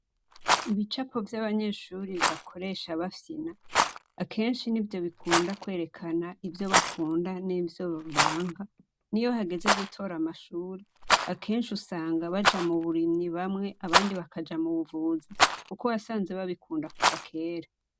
Ibicapo vy'abanyeshuri bakoresha bafyina ,akenshi n'ivyo bikunda kwerekana ivyo bakunda n'ivyo banka, n'iyo hageze gutora amashure ,akenshi usanga baja m'uburimyi bamwe ,abandi bakaja m'ubuvuzi kuko wasanze babikunda kuva kera.